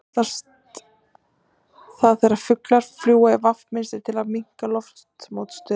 Hvað kallast það þegar fuglar fljúga í V mynstri til að minnka loftmótstöðu?